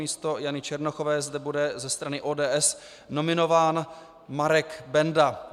Místo Jany Černochové zde bude ze strany ODS nominován Marek Benda.